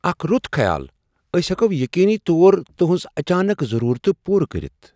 اکھ رُت خیال! أسۍ ہؠکو یقینی طور تہنٛز اچانک ضرورتہٕ پورٕ کٔرتھ۔